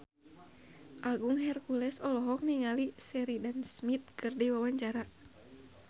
Agung Hercules olohok ningali Sheridan Smith keur diwawancara